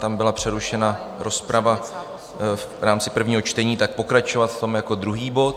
Tam byla přerušena rozprava v rámci prvního čtení, tak pokračovat v tom jako druhý bod.